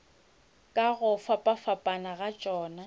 ka go fapafapana ga tšona